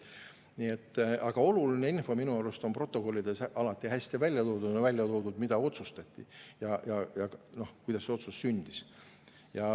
Aga oluline info minu arust on protokollides alati hästi välja toodud, on välja toodud, mida otsustati ja kuidas see otsus sündis.